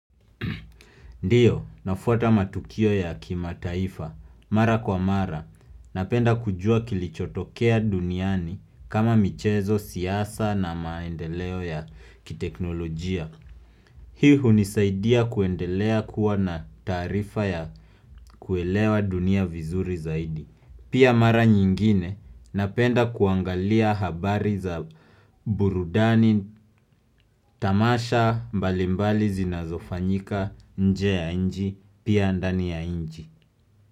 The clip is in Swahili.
Ndiyo, nafuata matukio ya kimataifa, mara kwa mara, napenda kujua kilichotokea duniani kama michezo siasa na maendeleo ya kiteknolojia. Hii hunisaidia kuendelea kuwa na taarifa ya kuelewa dunia vizuri zaidi. Pia mara nyingine napenda kuangalia habari za burudani tamasha mbalimbali zinazofanyika nje ya nchi pia ndani ya inchi.